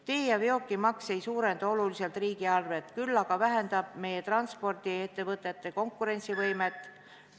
Tee- ja veokimaks ei suurenda oluliselt riigieelarvet, küll aga vähendab meie transpordiettevõtete konkurentsivõimet ...